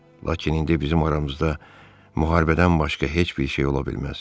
Lakin indi bizim aramızda müharibədən başqa heç bir şey ola bilməz.